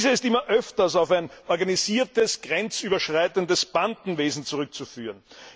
Diese ist immer öfter auf ein organisiertes grenzüberschreitendes Bandenwesen zurückzuführen.